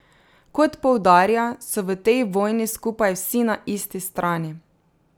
Kot poudarja, so v tej vojni skupaj vsi na isti strani.